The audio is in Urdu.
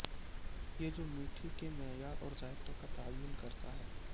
یہ جو میٹھی کے معیار اور ذائقہ کا تعین کرتا ہے